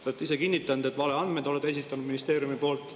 Te olete ise kinnitanud, et olete valeandmeid esitanud ministeeriumi poolt.